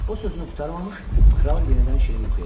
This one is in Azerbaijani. O sözünü qurtarmamış, kral yenidən şirin yuxuya getdi.